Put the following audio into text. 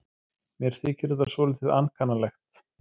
Mér þykir þetta svolítið ankannalegt.